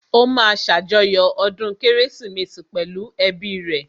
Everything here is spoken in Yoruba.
Ó máa ṣàjọyọ̀ ọdún kérésìmesì pẹ̀lú ẹ́bi rẹ̀